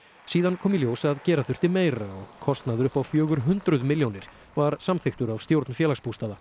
síðan kom í ljós að gera þurfti meira og kostnaður upp á fjögur hundruð milljónir var samþykktur af stjórn Félagsbústaða